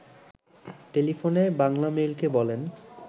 টেলিফোনে বাংলামেইলকে বলেন